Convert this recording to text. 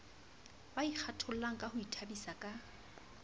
ba ikgathollangka ho ithabisa ka